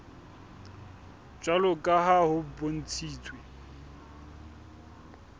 jwalo ka ha ho bontshitswe